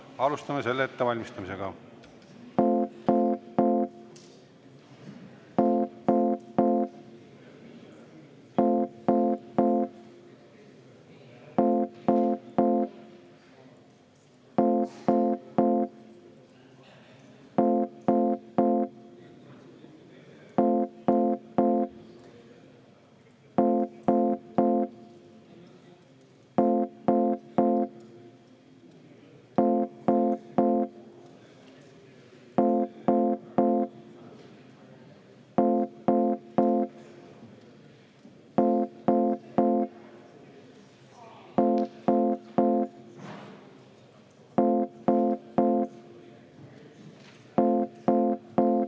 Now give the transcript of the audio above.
Alustame selle ettevalmistamist.